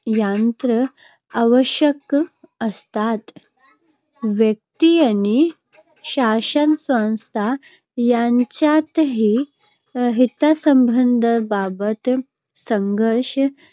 यंत्रणा आवश्यक असतात. व्यक्ती आणि शासनसंस्था यांच्यातही हितसंबंधांबाबत संघर्ष